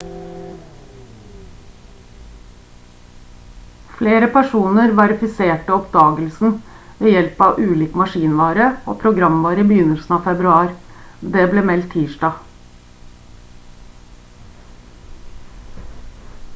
flere personer verifiserte oppdagelsen ved hjelp av ulik maskinvare og programvare i begynnelsen av februar det ble meldt tirsdag